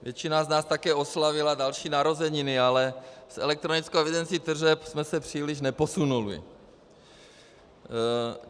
Většina z nás také oslavila další narozeniny, ale s elektronickou evidencí tržeb jsme se příliš neposunuli.